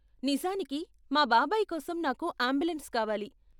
నిజానికి, మా బాబాయి కోసం నాకు అంబులెన్స్ కావాలి.